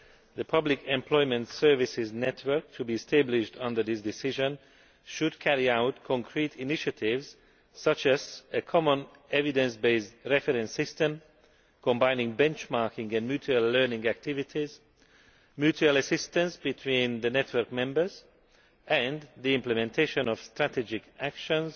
The public employment services network to be established under this decision should carry out concrete initiatives, such as a common evidence based reference system, combining benchmarking and mutual learning activities, mutual assistance between the network members and the implementation of strategic actions